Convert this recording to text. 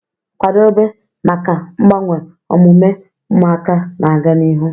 Kwado maka mgbanwe omume ụmụaka na-aga n'ihu